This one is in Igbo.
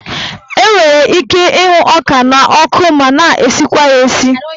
Enwere ike ịhụ ọka n'ọkụ ma na-esikwa ya esi.